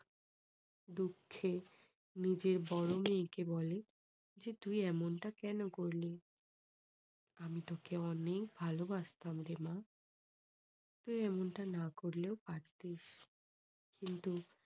দুঃখে নিজের বড়ো মেয়েকে বলে যে তুই এমনটা কেন করলি? আমি তোকে অনেক ভালোবাসতাম রে মা। তুই এমনটা না করলেও পারতিস। কিন্তু